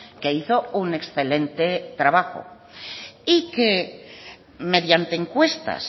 que hizo un excelente trabajo y que mediante encuestas